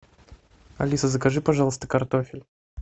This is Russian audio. алиса закажи пожалуйста картофель